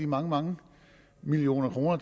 mange mange millioner kroner